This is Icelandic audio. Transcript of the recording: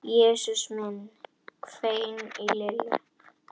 Jesús minn hvein í Lillu.